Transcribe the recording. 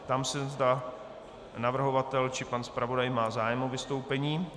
Ptám se, zda navrhovatel či pan zpravodaj má zájem o vystoupení.